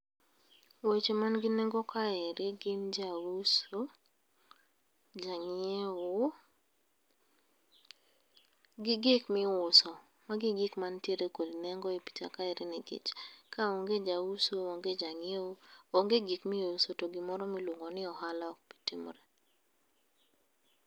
Weche man gi nengo kaeri gin jauso, jang'iewo gi gik miuso. Magi e gik mantiere kod nengo e picha kaeri nikech kaonge jauso, onge jang'iewo, onge gik miuso to gimoro miluongo ni ohala ok bi timore.